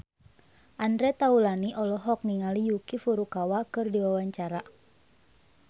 Andre Taulany olohok ningali Yuki Furukawa keur diwawancara